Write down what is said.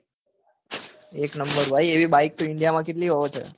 ભાઈ એક નંબર ભાઈ એવી બાઈક તો india માં કેટલી હોય તો